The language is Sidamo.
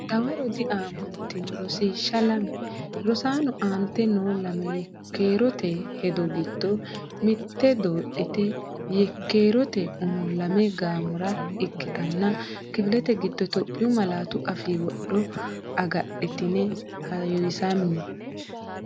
Dawaro diaamantino Rosiishsha Lame Rosaano, aante noo lame yekkeerote hedo giddo mitte doodhitine yek- keerote umo lame gaamora ikkitine kifilete giddo Itophiyu malaatu afii wodho agadhitine heewisamme.